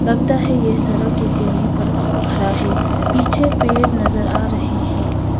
लगता है ये सड़क के कोने पर खड़ा है पीछे पेड़ नजर आ रहे हैं।